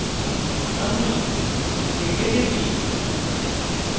আমি play তে টিপি